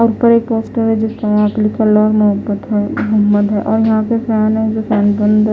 और पर एक पोस्टर है जिसका यहां पे लिखा ल और मोहब्बत है मोहम्मद है और यहां पे फैन है जो फैन बंद--